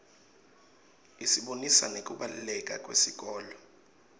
isibonisa nekubaluleka kwesikolo